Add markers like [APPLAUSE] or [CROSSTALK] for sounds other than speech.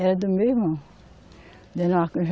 Era do meu irmão. [UNINTELLIGIBLE]